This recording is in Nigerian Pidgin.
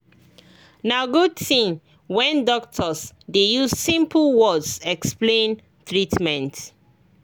na good thing when doctors dey use simple words explain treatment